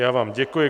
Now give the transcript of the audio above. Já vám děkuji.